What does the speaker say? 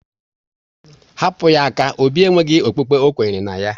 Hapụ ya aka! Obi e nweghị okpukpe ọkwenyere na ya